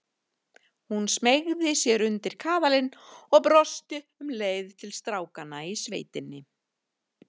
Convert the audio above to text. Hún smeygði sér undir kaðalinn og brosti um leið til strákanna í sveitinni.